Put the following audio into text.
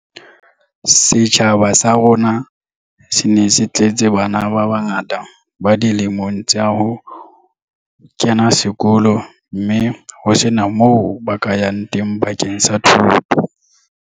Setjhaba sa rona se ne se tletse bana ba bangata ba dilemong tsa ho kena sekolo mme ho sena moo ba ka yang teng bakeng sa thuto.